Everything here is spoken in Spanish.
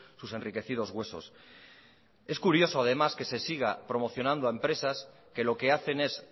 sus enriquecidos huesos es curioso además que se siga promocionando a empresas que lo que hacen es